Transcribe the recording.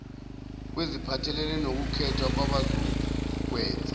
kweziphathelene nokukhethwa kwabazokwenza